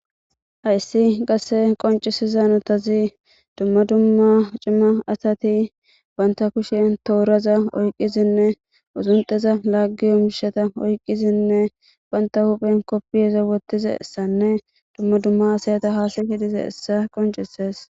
Hays qase qonchchizo duma duma Cima Asati Banta kushen toraza oykiza Uzunxeza Lagizo mishatas oykidine Banta huphen kopiya Wothizaysa Duma Duma hasayata Hasayidi Dizaysa Qoncisses